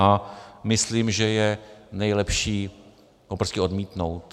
A myslím, že je nejlepší ho prostě odmítnout.